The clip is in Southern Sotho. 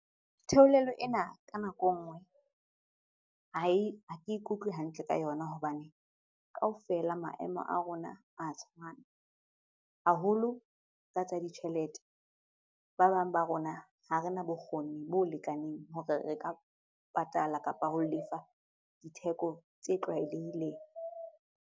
Theolelo ena ka nako ha ke e kutlwe hantle ka yona hobane kaofela maemo a rona a tshwana haholo ka tsa ditjhelete. Ba bang ba rona ha rena bokgoni bo lekaneng hore re ka patala kapa ho lefa ditheko tse tlwaelehileng.